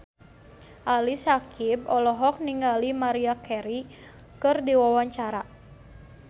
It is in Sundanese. Ali Syakieb olohok ningali Maria Carey keur diwawancara